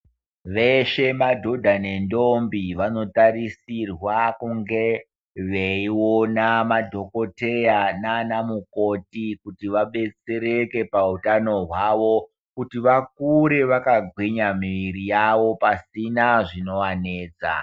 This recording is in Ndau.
Veshe madhodha nentombi vanotarisirwa kunge veiona madhokodheya nanamukoti kuti vadetsereke pautano hwavo kuti vakure vakagwinya miiri yavo pasina zvinovanetsa.